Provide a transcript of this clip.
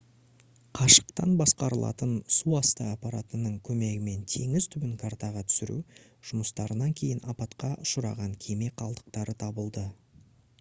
қашықтан басқарылатын суасты аппаратының көмегімен теңіз түбін картаға түсіру жұмыстарынан кейін апатқа ұшыраған кеме қалдықтары табылды